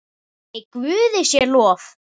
Nei, Guði sé lof.